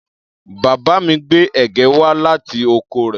Bàbá mi gbé ẹ̀gẹ́ wá láti oko rẹ̀.